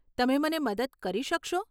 તમે મને મદદ કરી શકશો?